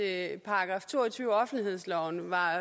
at § to og tyve i offentlighedsloven var